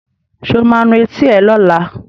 Sọ ma nu etí ẹ lọ́la?